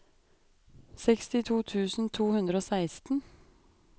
sekstito tusen to hundre og seksten